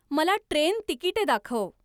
मला ट्रेन तिकिटे दाखव